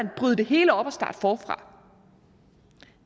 bryde det hele op og starte forfra